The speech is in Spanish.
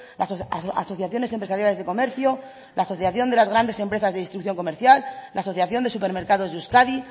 las asociaciones empresariales de comercio la asociación de las grandes empresas de distribución comercial la asociación de supermercados de euskadi